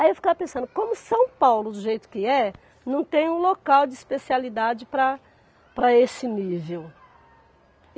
Aí eu ficava pensando, como São Paulo do jeito que é, não tem um local de especialidade para para esse nível.